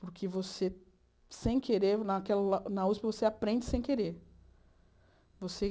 Porque você, sem querer, naquela na usp, você aprende sem querer.